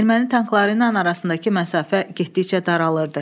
Erməni tankları ilə arasındakı məsafə getdikcə daralırdı.